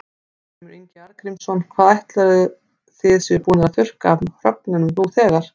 Ásgrímur Ingi Arngrímsson: Hvað áætlarðu að þið séuð búnir að þurrka af hrognum nú þegar?